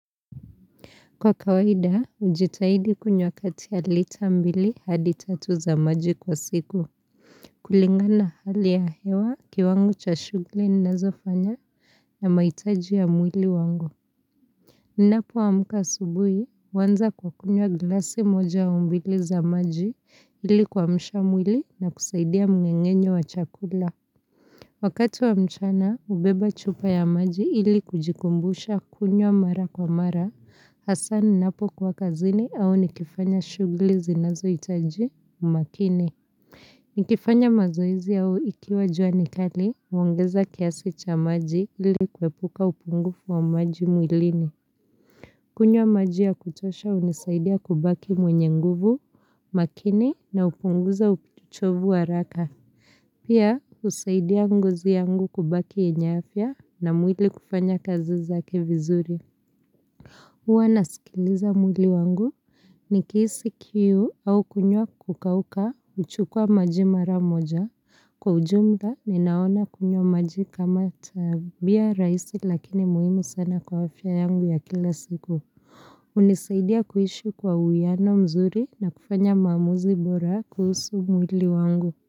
Kwa kawaida, hujitahidi kunywa kati ya lita mbili hadi tatu za maji kwa siku. Kulingana na hali ya hewa kiwango cha shughuli ninazofanya na mahitaji ya mwili wangu. Ninapoamka asubuhi, huanza kwa kunywa glasi moja au mbili za maji ili kuamsha mwili na kusaidia mng'eng'enyo wa chakula. Wakati wa mchana, hubeba chupa ya maji ili kujikumbusha kunywa mara kwa mara, hasa ninapokuwa kazini au nikifanya shughuli zinazohitaji umakini. Nikifanya mazoezi au ikiwa jua ni kali, huongeza kiasi cha maji ili kuepuka upungufu wa maji mwilini. Kunywa maji ya kutosha hunisaidia kubaki mwenye nguvu, makini na hupunguza uchovu wa haraka. Pia husaidia ngozi yangu kubaki yenye afya na mwili kufanya kazi zake vizuri huwa nasikiliza mwili wangu nikihisi kiu au kunywa kukauka huchukua maji mara moja. Kwa ujumaa ninaona kunywa maji kama tabia rahisi lakini muhimu sana kwa afya yangu ya kila siku hunisaidia kuishi kwa uwiano mzuri na kufanya maamuzi bora kuhusu mwili wangu.